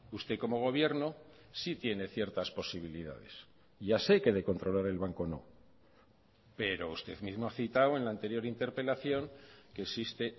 usted como gobierno sí tiene ciertas posibilidades ya sé que de controlar el banco no pero usted mismo ha citado en la anterior interpelación que existe